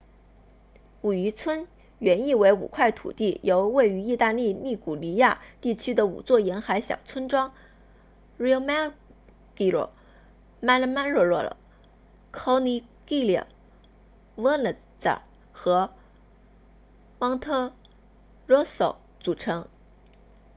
五渔村 cinque terre 原意为五块土地由位于意大利利古里亚 liguria 地区的五座沿海小村庄 riomaggiore manarola corniglia vernazza 和 monterosso 组成